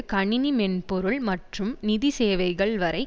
கணிணி மென்பொருள் மற்றும் நிதிசேவைகள் வரை